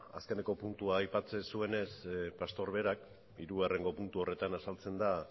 azkeneko puntua aipatzen zuenez pastor berak hirugarrengo puntu horretan azaltzen da